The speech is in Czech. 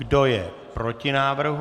Kdo je proti návrhu?